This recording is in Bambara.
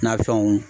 Nafɛnw